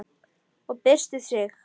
Og byrstir sig.